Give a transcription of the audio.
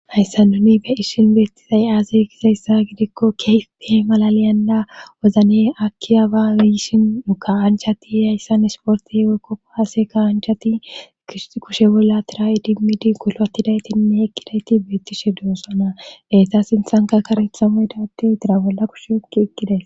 hayssa nuni be ishin beettizay aase kizayssa gidikko keefpihe malaliyanda wozne aki abayishin uka7anchati hayssan esportihe weykko haase ka anchati kushe bolla tira7idimidi kulwatidaytinne ekkidayti beettishe doossana deeta sinthanka karethamoydate dira bolla kushe okki eqqiday